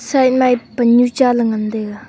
side ma ye pan nu cha ngantaiga.